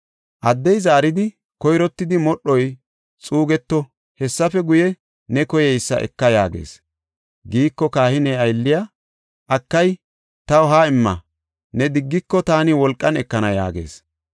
Addey zaaridi, “Koyrottidi modhoy xuugeto; hessafe guye, ne koyeysa eka” yaagees; shin kahiniya aylley, “Akay, taw ha77i imma, ne diggiko, taani wolqan ekana” yaagees.